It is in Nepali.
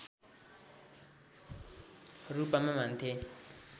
रूपमा मान्थे